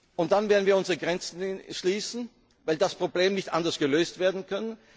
Und dann werden wir unsere Grenzen schließen, weil das Problem nicht anders gelöst werden